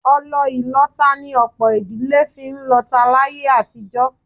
Ọlọ ìlọta ni ọ̀pọ̀ ìdílé fi ń lọta láyé àtijọ́